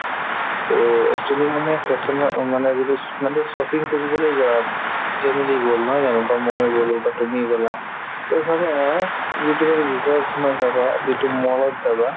to actually মানে fashion ৰ অ মানে যিটো sho মানে shopping কৰিবলৈ যাম family গ'ল নহয় জানো বা মই গ'লো বা তুমি গ'লা to চাবা ৰ ভিতৰত সোমাই চাবা যিটো mall ত যাবা